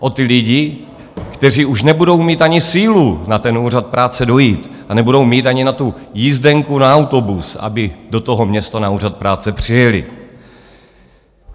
O ty lidi, kteří už nebudou mít ani sílu na ten úřad práce dojít a nebudou mít ani na tu jízdenku na autobus, aby do toho města na úřad práce přijeli.